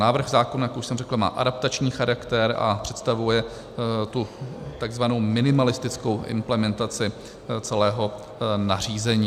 Návrh zákona, jak už jsem řekl, má adaptační charakter a představuje tu takzvanou minimalistickou implementaci celého nařízení.